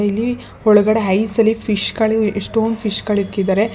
ಇಲ್ಲಿ ಒಳಗಡೆ ಐಸ್ ಅಲ್ಲಿ ಫಿಶ್ ಗಳು ಎಷ್ಟೊಂದ್ ಫಿಶ್ ಗಳಿಕ್ಕಿದ್ದಾರೆ.